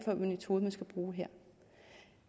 for en metode der skal bruges her